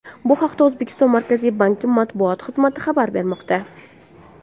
Bu haqda O‘zbekiston Markaziy banki matbuot xizmati xabar bermoqda .